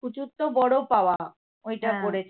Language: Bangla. পুজোর তো বড় পাওয়া ওইটা করেছি